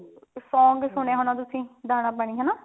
song ਸੁਣਿਆ ਹੋਣਾ